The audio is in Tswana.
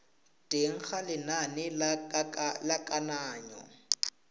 teng ga lenane la kananyo